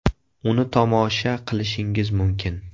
Uni tomosha qilishingiz mumkin.